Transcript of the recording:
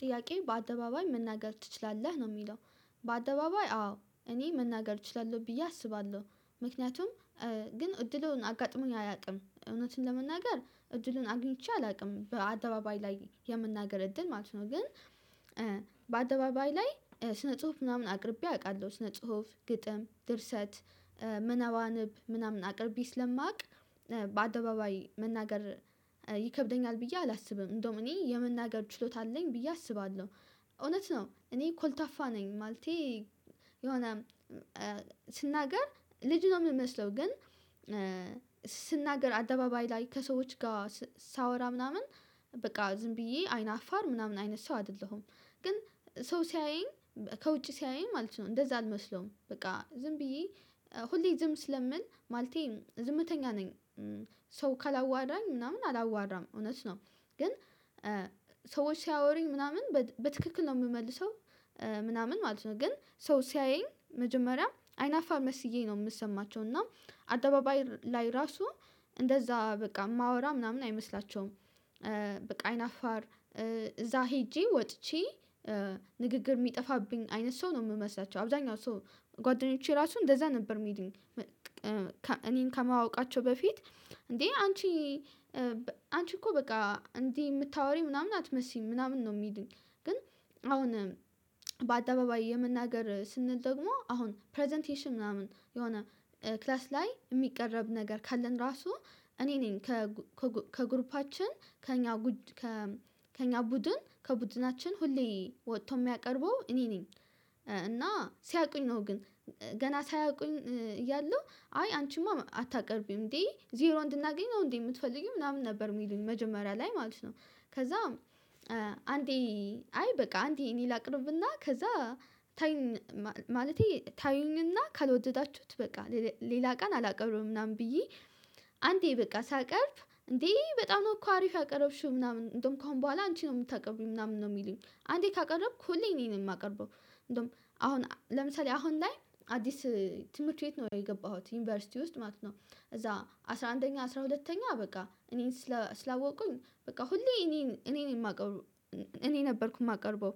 ጥያቄው በአደባባይ መናገር ትችላለህ ነው የሚለው? በአደባባይ አዎ እኔ መናገር እችላለህ ብዬ አስባለሁ ምክንያቱም ግን እድሉን አጋጥሞኝ አያቅም እውነቱን ለመናገር እድሉን አግኝቼ አላውቅም በአደባባይ ላይ የመናገር እድል ማለት ነው። ግን በአደባባይ ላይ ስነ ጽሁፍ ምናምን አቅርቤ አቃለሁ ስነ ጽሁፍ ግጥም ድርሰት ምነባንብ ምናምን አቅርቤ ስለማውቅ በአደባባይ መናገር ይከብደኛል ብዬ አላስብም። እንደውም እኔ የመናገር ችሎታ አለኝ ብዬ አስባለሁ። እውነት ነው እኔ ኮልታፋ ነኝ ማለቴ። የሆነ ስናገር ልጅ ነው የምመስለው ግን ስናገር አደባባይ ላይ ከሰዎች ጋር ሳወራ ምናምን በቃ ዝም ብዬ አይን አፋር ምናምን አይነት ሰው አይደለሁም። ግን ሰው ሲያየኝ ከውጪ ሲያየኝ ማለት ነው እንደዛ አልመስለውም በቃ ዝም ብዬ ሁሌ ዝም ስለምል ማለቴ ዝምተኛ ነኝ። ሰው ካላዋራኝ ምናምን አላዋራም እውነት ነው ግን ሰዎች ሲያወሩኝ ምናምን በትክክል ነው የምመልሰው ምናምን ማለት ነው። ግን ሰው ሲያየኝ መጀመሪያ አይናፋር መስዬ ነው የምሰማቸው እና አደባባይ ላይ ራሱ እንደዛ በቃ የማወራ ምናምን አይመስላቸውም። በቃ አይናፋር እዛ ሄጄ ወጥቼ ንግግር የሚጠፋብኝ አይነት ሰው ነው የምመስላቸው አብዛኛው ሰው ጓደኞቼ ራሱ እንደዛ ነበር የሚሉኝ። እኔን ከማወቃቸው በፊት እንዴ አንቺ አንቺ እኮ በቃ እንዲ የምታወሪ ምናምን አትመስይም ምናምን ነው ሚሉኝ። ግን አሁን በአደባባይ የመናገር ስንል ደግሞ አሁን ፕረዘንቴሽን ምናምን የሆነ ክላስ ላይ የሚቀረብ ነገር ካለን ራሱ እኔ ነኝ። ከግሩፓችን ከእኛ ከእኛ ቡድን ከቡድናችን ሁሌ ወጥቶ የሚያቀርበው እኔ ነኝ። እና ሲያውቁኝ ነው ግን ገና ሳያውቁኝ እያለሁ አይ አንቺማ አታቀርቢም እንዴ ዜሮ እንድናገኝ ነው እንዴ የምትፈልጊው ምናምን ነበር የሚሉን መጀመሪያ ላይ ማለት ነው። ከዛም አንዴ አይ በቃ አንዴ እኔ ላቅርብና ከዛ ታዩን ማለቴ ታዩኝና ካልወደዳችሁት በቃ ሌላ ቀን አላቀርቡም ምናምን ብዬ። አንዴ በቃ ሳቀርብ እንዴ በጣም ነው እኮ አሪፍ ያቀረብሽው ምናምን እንደውም ከአሁን በኋላ አንቺ ነው የምታቀርቢው ምናምን ነው የሚሉኝ አንዴ ካቀረብኩ ሁሌ እኔ ነኝ የማቀርበው። እንደው አሁን ለምሳሌ አሁን ላይ አዲስ ትምህርት ቤት ነው የገባሁት ዩኒቨርሲቲ ውስጥ ማለት ነው እዛ አስራ አንደኛ አስራ ሁለተኛ በቃ እኔን ስላወቁኝ በቃ ሁሌ እኔን እኔን የማቀርበው እኔ ነበርኩ የማቀርበው።